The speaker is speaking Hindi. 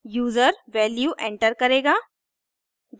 यूजर वैल्यू एंटर करेगा